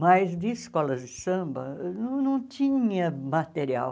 Mas de escolas de samba, não tinha material.